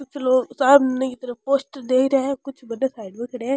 कुछ लोग सामने की तरफ पोस्टर देख रहे है कुछ बने साइड में खड्या है।